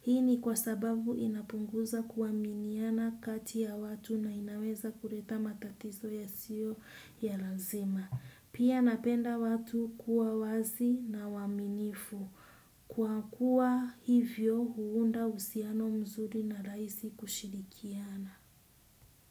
Hii ni kwa sababu inapunguza kuaminiana kati ya watu na inaweza kuleta matatizo yasio ya lazima. Pia napenda watu kuwa wazi na waaminifu. Kwa kuwa hivyo huunda uhusiano mzuri na rahisi kushirikiana.